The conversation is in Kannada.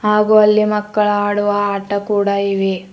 ಹಾಗು ಅಲ್ಲಿ ಮಕ್ಕಳ ಆಡುವ ಆಟ ಕೂಡ ಇವೆ.